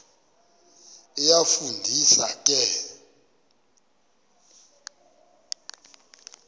iyafu ndisa ke